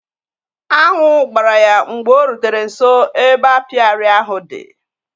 Añụ gbara ya mgbe o rutere nso ebe apịary ahụ di